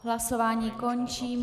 Hlasování končím.